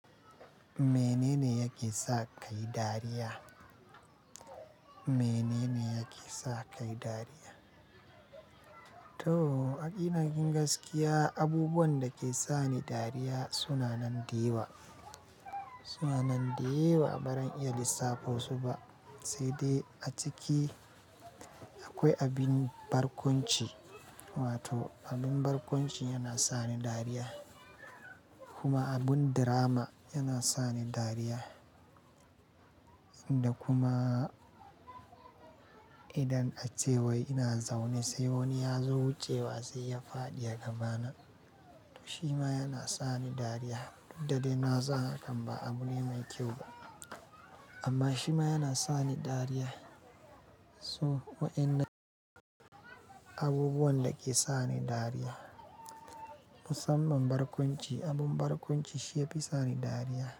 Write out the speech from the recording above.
Menene yake sa kayi dariya? Menene yake sa kai dariya? To, a gina gingaskiya, abubuwan da ke sa ni dariya suna nan dayawa. Suna nan dayawa, ba zan iya lissafo su ba. Sai dai a ciki akwai abin barkwanci, wato abin barkwanci yana sa ni dariya. Kuma abin drama yana sa ni dariya. Da kuma idan a cewa ina zaune, sai wani ya zo wucewa sai ya fadi a gabana. Shima yana sa ni dariya, duk da dai na san hakan ba abu ne mai kyau ba. Amma shima yana sa ni dariya. So, wa'yannan abubuwan da ke sa ni dariya. Musamman barkwanci, abin barkwanci shi ya fi sa ni dariya.